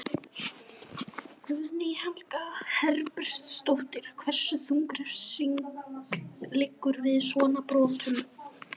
Guðný Helga Herbertsdóttir: Hversu þung refsing liggur við svona brotum?